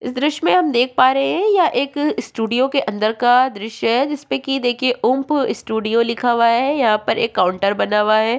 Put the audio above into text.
इस दृश्य में हम देख पा रहे हैं यह एक स्टूडियो के अंदर का दृश्य है जिसपे की देखिए ऊम्प स्टूडियो लिखा हुआ है यहाँ पर एक काउंटर बना हुआ है।